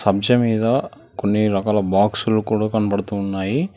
అంశ మీద కొన్ని రకాల బాక్సులు కూడా కనబడుతూ ఉన్నాయి.